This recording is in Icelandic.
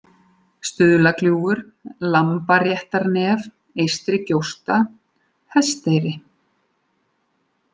Stuðlagljúfur, Lambaréttarnef, Eystrigjósta, Hesteyri